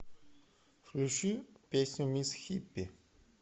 включи песню мисс хиппи